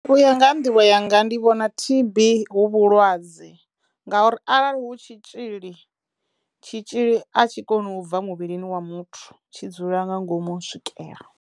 U ya nga ha nḓivho yanga ndi vhona T_B hu vhulwadze nga uri arali hu tshitzhili tshitzhili a tshi koni u bva muvhilini wa muthu tshi dzula nga ngomu u swikela.